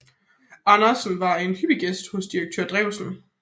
Andersen var en hyppig gæst hos direktør Drewsen